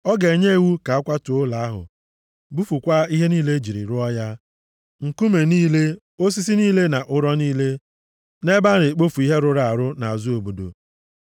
Ọ ga-enye iwu ka a kwatuo ụlọ ahụ bufukwaa ihe niile e jiri rụọ ya, nkume niile, osisi niile na ụrọ niile, nʼebe a na-ekpofu ihe rụrụ arụ nʼazụ obodo.